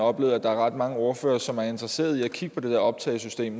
oplevet at der er ret mange ordførere som er interesseret i at kigge på det der optagsystem